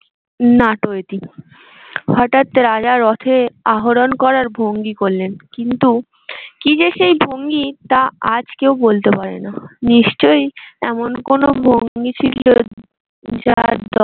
হঠাৎ রাজার রথে আহরণ করার ভঙ্গি করলেন কিন্তু কি যে সেই ভঙ্গি তা আজ কেউ বলতে পারবে না। নিশ্চয়ই এমন কোনো ভঙ্গি ছিল